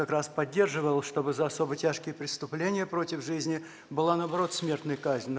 как раз поддерживал чтобы за особо тяжкие преступления против жизни была наоборот смертная казнь но